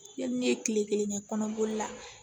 Yanni ne ye kile kelen kɛ kɔnɔboli la